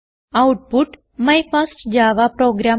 output my first Java programme